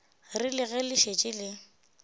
rile ge le šetše le